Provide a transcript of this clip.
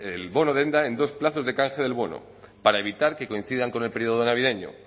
el bono denda en dos plazos de canje del bono para evitar que coincidan con el periodo navideño